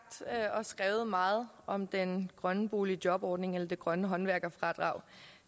og skrevet meget om den grønne boligjobordning eller det grønne håndværkerfradrag